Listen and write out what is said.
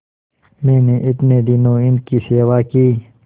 मैंने इतने दिनों इनकी सेवा की